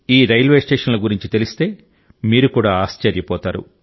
ఈ రైల్వే స్టేషన్ల గురించి తెలిస్తే మీరు కూడా ఆశ్చర్యపోతారు